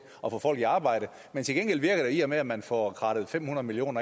at få folk i arbejde men til gengæld virker det i og med at man får krattet fem hundrede million